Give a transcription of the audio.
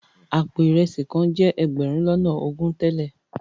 Àpò ìresì kan jẹ́ ẹgbẹ̀rún lọ́nà ogún tẹ́lẹ̀.